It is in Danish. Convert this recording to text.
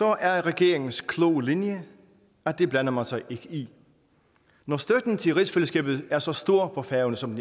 er regeringens kloge linje at det blander man sig ikke i når støtten til rigsfællesskabet er så stor på færøerne som